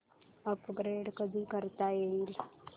upgrade कधी करता येईल